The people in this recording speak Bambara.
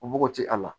O bɔgɔ ti a la